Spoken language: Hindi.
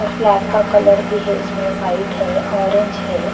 और ब्लैक का कलर भी है इसमें वाइट है ऑरेंज है।